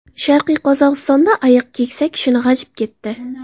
Sharqiy Qozog‘istonda ayiq keksa kishini g‘ajib ketdi.